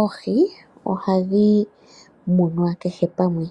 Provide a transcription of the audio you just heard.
Oohi ohadhi munwa kehe pamwe,